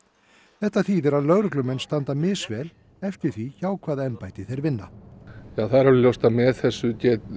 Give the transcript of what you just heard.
þetta þýðir að lögreglumenn standa misvel eftir því hjá hvaða embætti þeir vinna það er alveg ljóst að með þessu